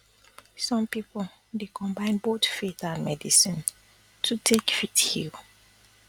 some people dey um combine both faith and medicine um to take fit um heal